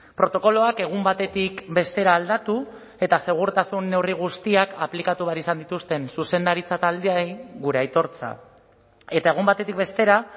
protokoloak egun batetik bestera aldatu eta segurtasun neurri guztiak aplikatu behar izan dituzten zuzendaritza taldeei gure aitortza eta egun batetik bestera